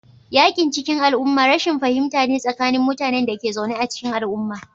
Yakin cikin al'umma rashin fahimta ne tsakanin mutanen da ke zaune a cikin al'umma